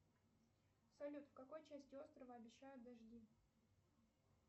салют в какой части острова обещают дожди